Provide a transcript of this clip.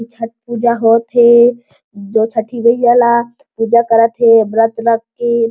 ये छठ पूजा होत हे जो छठी मईया ला पूजा करत हे व्रत रख के--